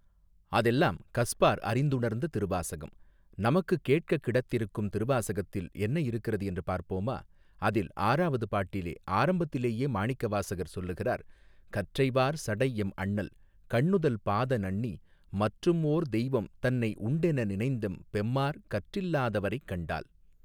அதெல்லாம் கஸ்பார் அறிந்துணர்ந்த திருவாசகம் நமக்கு கேட்கக் கிடத்திருக்கும் திருவாசகத்தில் என்ன இருக்கிறது என்று பார்ப்போமா அதில் ஆறாவது பாட்டிலே ஆரம்பத்திலேயே மாணிக்க வாசகர் சொல்லுகிறார் கற்றை வார் சடை எம் அண்ணல் கண்ணுதல் பாத நண்ணி மற்றும் ஓர் தெய்வம் தன்னை உண்டென நினைந்தெம் பெம்மாற் கற்றில்லாதவரைக் கண்டால்.